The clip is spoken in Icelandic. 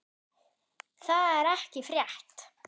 Það er ekki frétt.